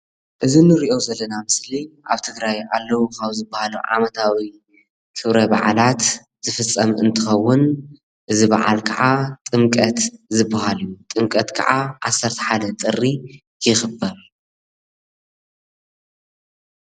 እዚ ንሪኦ ዘለና ምስሊ ኣብ ትግራይ ኣለዉ ካብ ዝበሃሉ ዓመታዊ ክብረ በዓላት ዝፍጸም እንትኸዉን አዚ በዓል ክዓ ጥምቀት ዝበሃል እዩ። ጥምቀት ከዓ 11 ጥሪ ይኽበር።